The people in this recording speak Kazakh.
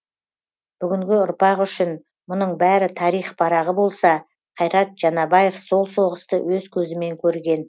бүгінгі ұрпақ үшін мұның бәрі тарих парағы болса қайрат жанабаев сол соғысты өз көзімен көрген